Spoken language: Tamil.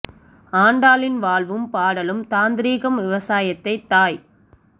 ஆண்டாளின் வாழ்வும் பாடலும் தாந்திரீகம் விவசாயத்தை தாய்